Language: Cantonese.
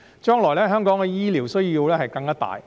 將來，香港的醫療需求更加大。